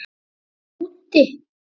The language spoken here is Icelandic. Mamma er úti.